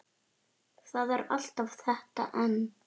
Það er alltaf þetta en.